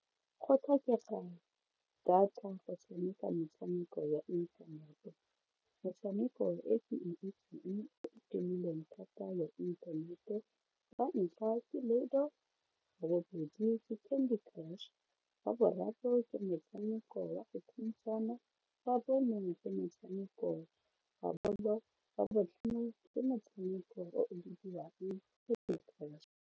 Go tlhokega data go tshameka metshameko ya inthanete, metshameko e ke itseng o tumilweng thata ya inthanete wa ntlha ke ludo, wa bobedi candy crush wa boraro ke motshameko wa go thuntshana, wa bone ke motshameko wa bolo wa botlhano ke motshameko o bidiwang candy crush.